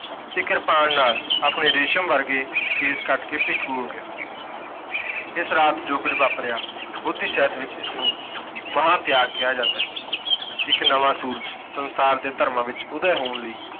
ਤੇ ਕਿਰਪਾਨ ਨਾਲ ਆਪਣੇ ਰੇਸ਼ਮ ਵਰਗੇ ਕੇਸ ਕੱਟ ਕੇ ਭੇਖੂ ਹੋ ਗਿਆ। ਇਸ ਰਾਤ ਜੋ ਕੁੱਝ ਵਾਪਰਿਆ ਬੋਧੀ ਸਹਿਤ ਵਿੱਚ ਇਸਨੂੰ ਮਹਾਂ ਤਿਆਗ ਕਿਹਾ ਜਾਂਦਾ ਹੈ। ਇੱਕ ਨਵਾਂ ਸੂਰਜ਼ ਸੰਸਾਰ ਦੇ ਧਰਮਾਂ ਵਿੱਚ ਉਦਯ ਹੋਣ ਲਈ